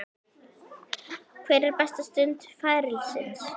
Hver er besta stund ferilsins?